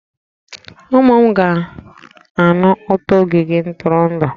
Ụmụ m ga-anụ ụtọ ogige ntụrụndụ